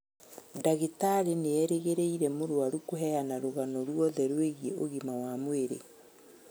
Ndagĩtarĩ nĩerĩgĩrĩire mũrwaru kũheana rũgano ruothe rwigiĩ ũgima wa mwĩrĩ